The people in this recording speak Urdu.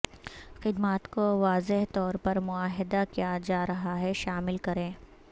خدمات کو واضح طور پر معاہدہ کیا جا رہا ہے شامل کریں